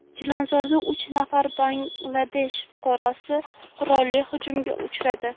Chilonzorda uch nafar Bangladesh fuqarosi qurolli hujumga uchradi.